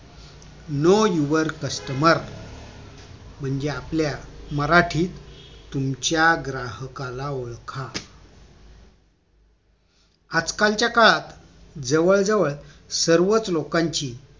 know your customer म्हणजे आपल्या मराठीत तुमच्या ग्राहकाला ओळखा आजकालच्या काळात जवळ जवळ सर्वच लोकांची